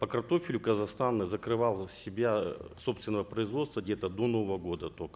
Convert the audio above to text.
по картофелю казахстан закрывал себя собственного производства где то до нового года только